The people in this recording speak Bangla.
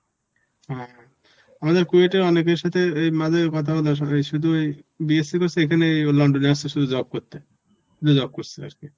হম, আমাদের কুয়েতের অনেকের সাথে এই মাঝে কথা হল শুধু ওই BSC করছে এখানে লন্ডনে আসছে শুধু job করতে. শুধু job করছে আর কি.